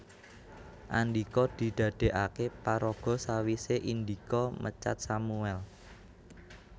Andhika didadèkaké paraga sawisé Indika mecat Sammuel